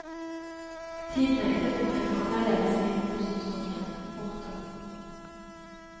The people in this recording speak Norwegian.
Tiden er inne for å tenke annerledes innen rusomsorgen. punktum